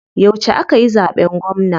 Yauce akayi zaɓen gwamna?